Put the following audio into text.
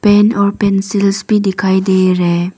pen और pencils भी दिखाई दे रहे--